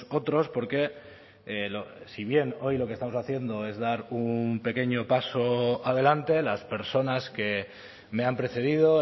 otros porque si bien hoy lo que estamos haciendo es dar un pequeño paso adelante las personas que me han precedido